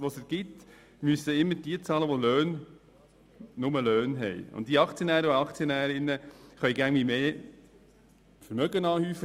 Demgegenüber können die Aktionäre und Aktionärinnen immer mehr Vermögen anhäufen.